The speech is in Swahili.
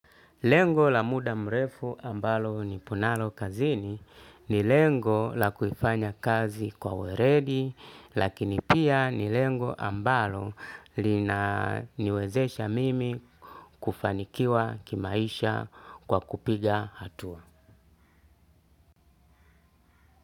Lengo la muda mrefu ambalo nipo nalo kazini ni lengo la kuifanya kazi kwa weledi. Lakini pia ni lengo ambalo lina niwezesha mimi kufanikiwa kimaisha kwa kupiga hatua.